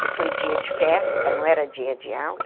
Que foi dia de festa, não era dia de aula.